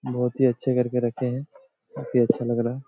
बहुत ही अच्छे करके रखे हैं काफ़ी अच्छा लग रहा है।